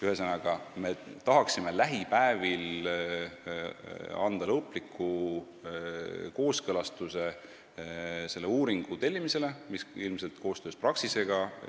Ühesõnaga, me tahaksime lähipäevil anda lõpliku kooskõlastuse selle uuringu tellimisele, mis valmib koostöös Praxisega.